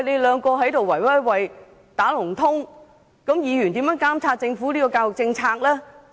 兩個局互相"打龍通"，議員如何監察政府的教育政策呢？